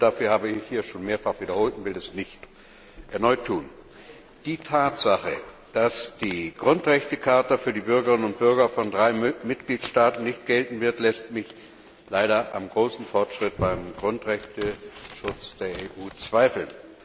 Die Gründe dafür habe ich hier schon mehrfach wiederholt und will das nicht erneut tun. Die Tatsache, dass die Grundrechtecharta für die Bürgerinnen und Bürger von drei Mitgliedstaaten nicht gelten wird, lässt mich leider am großen Fortschritt beim Grundrechteschutz der EU zweifeln.